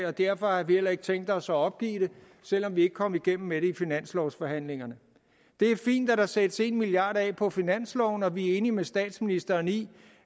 og derfor har vi heller ikke tænkt os at opgive det selv om vi ikke kom igennem med det i finanslovsforhandlingerne det er fint at der sættes en milliard kroner af på finansloven og vi er enige med statsministeren i